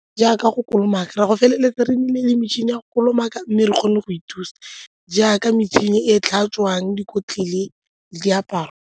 Jaaka go kolomaka, re a go feleletsa re na le metšhini ya go kolomaka mme re kgone go ithusa jaaka metšhini e e tlhatswang dikotlele le diaparo.